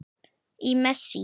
Í messi.